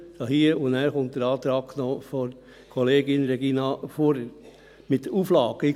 Nachher folgt noch der Antrag von Kollegin Regina Fuhrer mit den Auflagen.